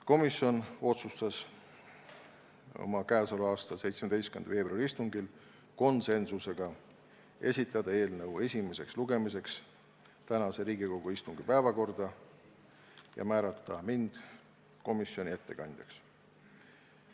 Komisjon otsustas 17. veebruari istungil konsensusega esitada eelnõu esimeseks lugemiseks tänase Riigikogu istungi päevakorda ja määrata mind komisjoni ettekandjaks.